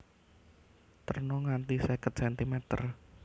Terna nganti seket centimeter